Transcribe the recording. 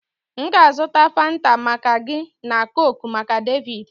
M ga-azụta Fanta maka gị na coke maka David